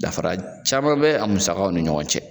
Dafara caman bɛ a musakaw ni ɲɔgɔn cɛ